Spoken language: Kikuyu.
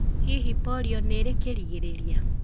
Hihi polio nĩ ĩrĩ kĩrigĩrĩria?